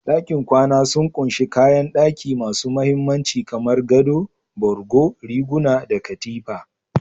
Dakin kwana sun ƙunshi kayan daki masu mahimmanci, kamar gado, borgo, riguna, da Katifa.